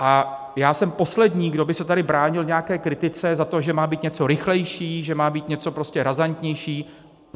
A já jsem poslední, kdo by se tady bránil nějaké kritice za to, že má být něco rychlejší, že má být něco prostě razantnější.